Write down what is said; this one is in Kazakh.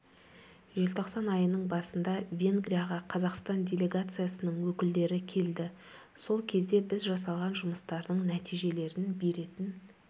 желтоқсан айының басында венгрияға қазақстан делегациясының өкілдері келдері сол кезде біз жасалған жұмыстардың нәтижелерін беретін